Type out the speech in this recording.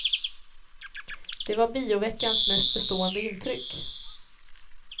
Det var bioveckans mest bestående intryck.